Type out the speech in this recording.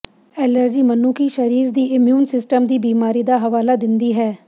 allergy ਮਨੁੱਖੀ ਸਰੀਰ ਦੀ ਇਮਿਊਨ ਸਿਸਟਮ ਦੀ ਬਿਮਾਰੀ ਦਾ ਹਵਾਲਾ ਦਿੰਦੀ ਹੈ